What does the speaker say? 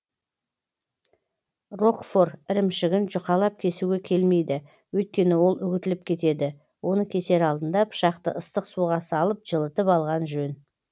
рокфор ірімшігін жұқалап кесуге келмейді өйткені ол үгітіліп кетеді оны кесер алдында пышақты ыстық суға салып жылытыл алған жөн